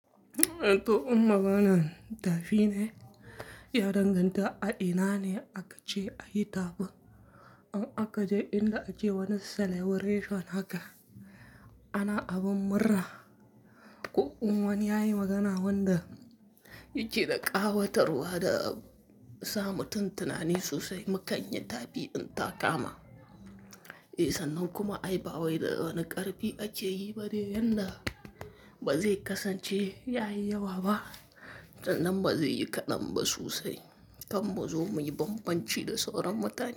To, in maganan tafi ne, ya danganta a ina ne aka ce a yi tafin. In aka je inda ake wani celebration haka, ana abin murra. Ko kuwa wani ya yi magana wanda yake da ƙawatarwa da sa mutun tunani sosai. Mukan yi tafi in ta kama. Eh, sannan kuma ai ba wai da wane ƙarfi ake yi ba dai yanda ba zai kasance yayi yawa ba. Dan ba zai yi kaɗan ba sosai. Kam muzo muyi bambanci da sauran mutane.